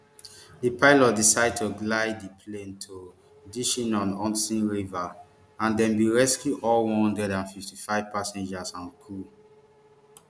di pilot decide to glide di plane to ditching on hudson river and dem bin rescue all one hundred and fifty-five passengers and crew